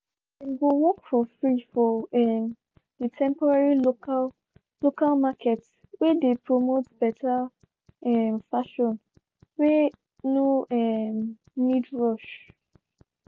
dem go work for free for um the temporary local local market whey dey promote better um fashion whey no um need rush.